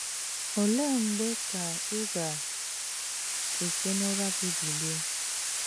Ole mgbe ka ị ga - esi n’ụra gị bilie? ”